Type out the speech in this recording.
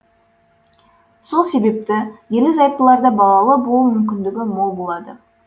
сол себепті ерлі зайыптыларда балалы болу мүмкіндігі мол болады